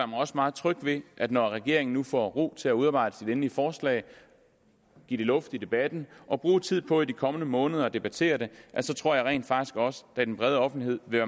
mig også meget tryg ved at når regeringen nu får ro til at udarbejde sit endelige forslag give det luft i debatten og bruge tid på i de kommende måneder at debattere det så tror jeg rent faktisk også at den bredere offentlighed vil